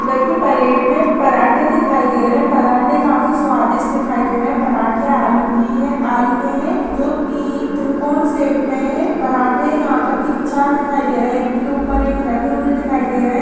Plate में पराठे दिखाई दे रहे है पराठे काफी स्वादिष्ट दिखाई दे रहे है पराठे आलू की हे आलू के है जो त्रि त्रिकोणी शेप में है पराठे यहाँ पर तीन चार दिखाई दे रहे है एक के ऊपर एक रखे हुए दिखाई दे रहे है।